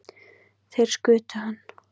Þeir skutu hann